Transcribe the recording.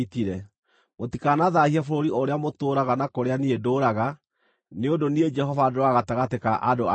Mũtikanathaahie bũrũri ũrĩa mũtũũraga na kũrĩa niĩ ndũũraga, nĩ ũndũ niĩ Jehova ndũũraga gatagatĩ ka andũ a Isiraeli.’ ”